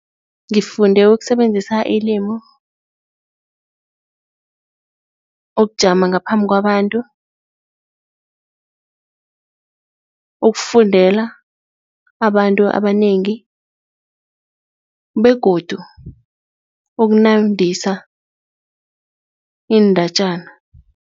Ngifunde ukusebenzisa ilimu, ukujama ngaphambi kwabantu, ukufundela abantu abanengi begodu ukunandisa iindatjana.